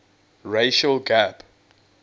racial gap